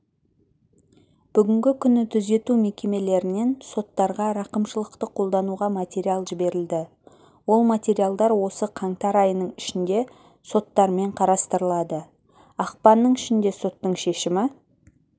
бүгінгі күні түзету мекемелерінен соттарға рақымшылықты қолдануға материал жіберілді ол материалдар осы қаңтар айының ішінде соттармен қарастырылады ақпанның ішінде соттың шешімі